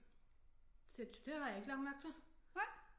Det har jeg ikke lagt mærke til